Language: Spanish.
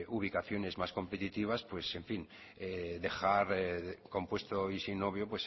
ubicaciones más competitivas dejar compuesto y sin novio